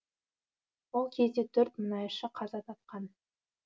ол кезде төрт мұнайшы қаза тапқан